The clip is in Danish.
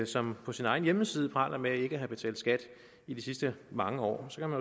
som på sin egen hjemmeside praler med ikke at have betalt skat i de sidste mange år så kan